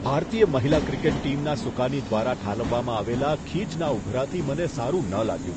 ભારતીય મહિલા ક્રિકેટ ટીમના સુકાની દ્વારા ઠાલવવામાં આવેલા ખીજના ઉભરાથી મને સારું ન લાગ્યું.